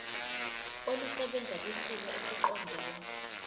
olusebenza kwisimo esiqondena